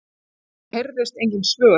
Það heyrðust engin svör.